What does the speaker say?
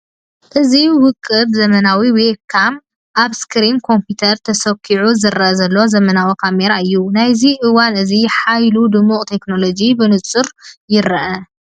እዚ ውቁብ ዘመናዊ ዌብካም ኣብ ስክሪን ኮምፒተር ተሰዂዑ ዝረአ ዘሎ ዘመናዊ ካሜራ እዩ፡፡ ናይዚ እዋን እዚ ሓይሉ ድሙቕ ቴክኖሎጂ ብንጹር ይርአ!